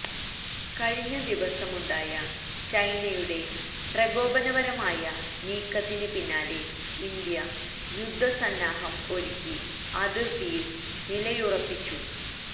കഴിഞ്ഞ ദിവസമുണ്ടായ ചൈനയുടെ പ്രകോപനപരമായ നീക്കത്തിന് പിന്നാലെ ഇന്ത്യ യുദ്ധ സന്നാഹം ഒരുക്കി അതിർത്തിയിൽ നിലയുറപ്പിച